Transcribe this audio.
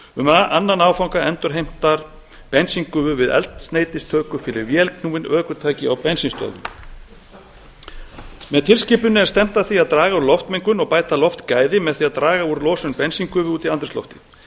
um annan áfanga endurheimtar bensíngufu við eldsneytistöku fyrir vélknúin ökutæki á bensínstöðvum með tilskipuninni er stefnt að því að draga úr loftmengun og bæta loftgæði með því að draga úr losun bensíngufu út í andrúmsloftið